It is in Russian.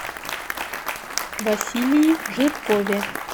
василии жиркове